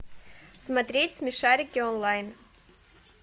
смотреть смешарики онлайн